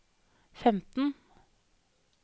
femten